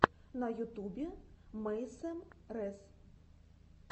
на ютубе мэйсэм рэс